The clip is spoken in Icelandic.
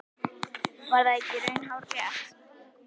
Var það ekki í raun hárrétt?